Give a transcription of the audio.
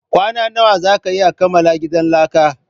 Kwana nawa zaka iya kamala gidan laka?